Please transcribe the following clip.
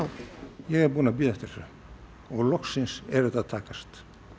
ég er búinn að bíða eftir þessu og loksins er þetta að takast